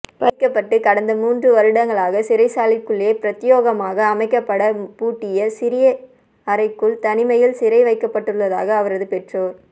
பறிக்கப்பட்டு கடந்த மூன்று வருடங்களாக சிறைசாலைகுள்ளே பிரத்தியோகமாக அமைக்கப்பட பூட்டிய சிறிய அறைக்குள் தனிமையில் சிறைவைக்கப்பட்டுள்ளதாக அவரது பெற்றோர்